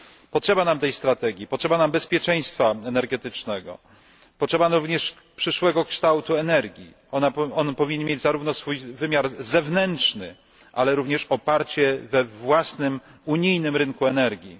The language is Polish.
Potrzeba nam tej strategii, potrzeba nam bezpieczeństwa energetycznego, potrzeba nam również przyszłego kształtu energii, on powinien mieć zarówno swój wymiar zewnętrzny, ale również oparcie we własnym unijnym rynku energii.